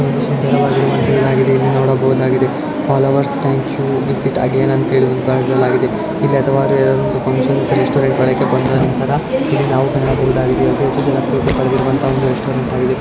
ಸುಂದರವಾಗಿದೆ ಇಲ್ಲಿ ನೋಡಬಹುದಾಗಿದೆ ಇಲ್ಲಿ ನೋಡಬಹುದಾಗಿದೆ follow us thank you visit again ಅಂತೇಳಿ ಬರೆಯಲಾಗಿದೆ ಇಲ್ಲಿ ಅಥವಾ ರ ಒಂದು ಫಂಕ್ಷನ್ ಇಂಥ ರೆಸ್ಟೋರೆಂಟ್ ಗಳಿಗೆ ಬಂದ ನಂತರ ಇಲ್ಲಿ ನಾವು ಕಾಣಬಹುದಾಗಿದೆ ಹೆಚ್ಚು ಜನ ಪ್ರೀತಿ ಪಡೆದಿರುವ ಒಂದು ರೆಸ್ಟೋರೆಂಟ್ ಆಗಿದೆ.